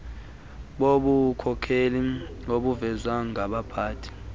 bobukhokheli obuvezwa ngabaphathi